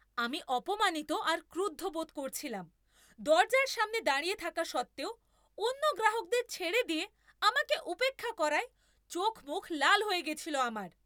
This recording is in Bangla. আমি অপমানিত আর ক্রুদ্ধ বোধ করছিলাম, দরজার সামনে দাঁড়িয়ে থাকা সত্ত্বেও অন্য গ্রাহকদের ছেড়ে দিয়ে আমাকে উপেক্ষা করায় চোখমুখ লাল হয়ে গেছিল আমার।